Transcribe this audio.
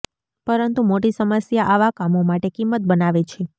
પરંતુ મોટી સમસ્યા આવા કામો માટે કિંમત બનાવે છે